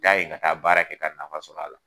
N y'a ye ka taa baara kɛ ka ta nafa sɔrɔ a la.